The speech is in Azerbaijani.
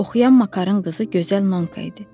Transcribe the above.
Oxuyan Makarın qızı gözəl Nonka idi.